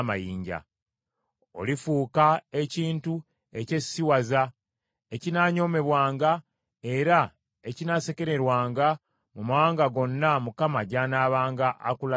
Olifuuka ekintu ekyesisiwaza, ekinaanyoomebwanga era ekinaasekererwanga mu mawanga gonna Mukama gy’anaabanga akulazizza.